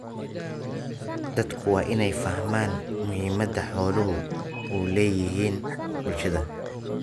Dadku waa inay fahmaan muhiimadda xooluhu u leeyihiin bulshada.